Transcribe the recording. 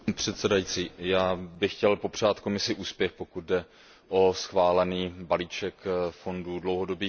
Já bych chtěl popřát Komisi úspěch, pokud jde o schválený balíček fondů dlouhodobých investic.